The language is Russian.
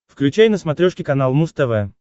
включай на смотрешке канал муз тв